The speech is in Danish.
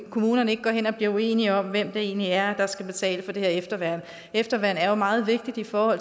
kommunerne ikke går hen og blive uenige om hvem det egentlig er der skal betale for det her efterværn efterværn er jo meget vigtigt i forhold